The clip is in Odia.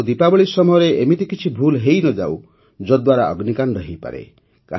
ଆଉ ଦୀପାବଳୀ ସମୟରେ ଏମିତି କିଛି ଭୁଲ୍ ହୋଇନଯାଉ ଯଦ୍ଦ୍ୱାରା ଅଗ୍ନିକାଣ୍ଡ ହୋଇପାରେ